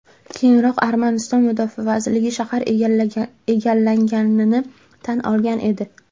Keyinroq Armaniston Mudofaa vazirligi shahar egallanganini tan olgan edi .